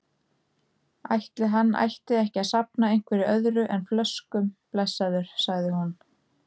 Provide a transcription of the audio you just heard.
Ætli hann ætti ekki að safna einhverju öðru en flöskum, blessaður, sagði hún.